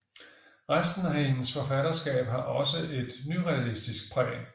Resten af hendes forfatterskab har også et nyrealistisk præg